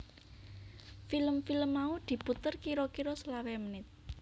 Film film mau diputer kira kira selawe menit